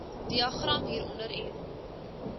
diagram hieronder illustreer